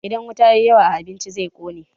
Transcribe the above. Idan wuta ya yi yawa a abinci, zai ƙone.